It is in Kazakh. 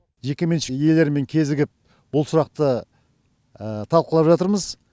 жекеменшік иелерімен кезігіп бұл сұрақты талқылап жатырмыз